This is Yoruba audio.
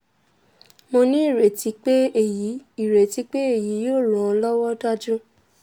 mo ní ireti pé èyí ireti pé èyí yóò ran an lọ́wọ́ dájú